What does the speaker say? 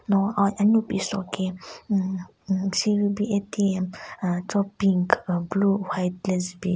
No aa anyu pi soki hmm hmm ATM umm cho pink ah blue white le zu bin.